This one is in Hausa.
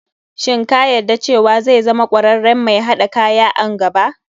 Shin ka yadda cewa zai zama kwararren mai haɗa kaya a nn gaba.